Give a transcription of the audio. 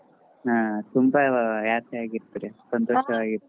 ಹಾ ತುಂಬಾ happy ಆಗಿ ಇರ್ತೀರಿ ಸಂತೋಷವಾಗೀರ್ತಿರಿ.